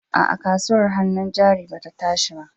A'a, kasuwar hannun jari ba ta tashi ba.